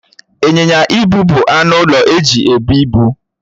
Ịnyịnya ibu bụ anụ ụlọ eji ebụ ibu.